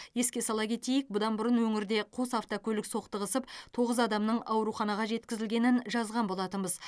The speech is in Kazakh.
еске сала кетейік бұдан бұрын өңірде қос автокөлік соқтығысып тоғыз адамның ауруханаға жеткізілгенін жазған болатынбыз